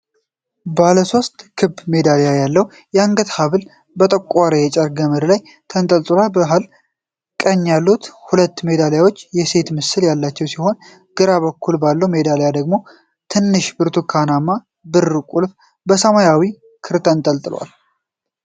ባለሶስት ክብ ሜዳሊያ ያለው የአንገት ሐብል በጠቆረ የጨርቅ ገመድ ላይ ተንጠልጥሏል። መሀል እና ቀኝ ያሉት ሁለት ሜዳሊያዎች የሴት ምስል ያላቸው ሲሆን፣ ግራ በኩል ባለው ሜዳሊያ ደግሞ ትንሽ ብርቱካንማ-ብር ቁልፍ በሰማያዊ ክር ተንጠልጥሏል።